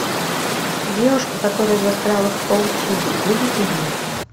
девушка которая застряла в паутине выведи мне